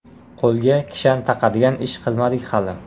Qo‘lga kishan taqadigan ish qilmadik hali.